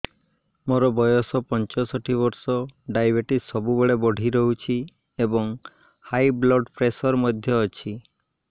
ମୋର ବୟସ ପଞ୍ଚଷଠି ବର୍ଷ ଡାଏବେଟିସ ସବୁବେଳେ ବଢି ରହୁଛି ଏବଂ ହାଇ ବ୍ଲଡ଼ ପ୍ରେସର ମଧ୍ୟ ଅଛି